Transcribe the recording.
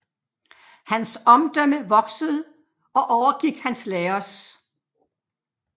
Hans omdømme voksede og overgik hans lærers